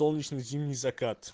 солнечный зимний закат